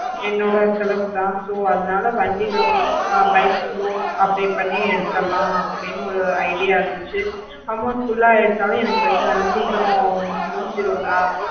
என்னோட செலவு தா so வண்டி loan bike loan apply பண்ணி எடுடத்துதலை அப்படினு ஒரு idea இருந்துச்சி amount full ஆஹ் எடுத்தாலும் என்னக்கு பிரச்னை இல்ல சீக்கிரம் முடிஞ்சிஜேரோம்ல